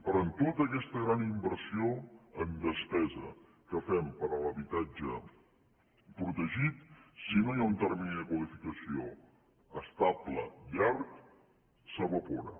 però en tota aquesta gran inversió en despesa que fem per a l’habitatge protegit si no hi ha un termini de qualificació estable llarg s’evapora